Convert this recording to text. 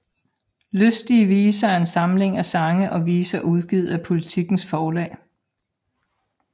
Lystige Viser er en samling af sange og viser udgivet af Politikens Forlag